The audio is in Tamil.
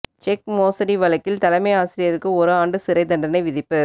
செக் மோசடி வழக்கில் தலைமை ஆசிரியருக்கு ஒரு ஆண்டு சிறை தண்டனை விதிப்பு